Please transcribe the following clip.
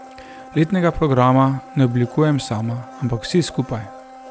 Letnega programa ne oblikujem sama, ampak vsi skupaj.